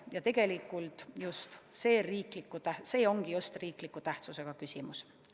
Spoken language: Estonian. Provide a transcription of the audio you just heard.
Ja tegelikult see just ongi riikliku tähtsusega küsimus.